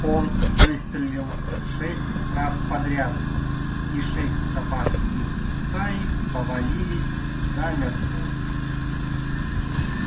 он выстрелил шесть раз подряд и шесть собак из стаи повалились замертво